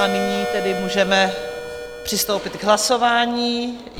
A nyní tedy můžeme přistoupit k hlasování.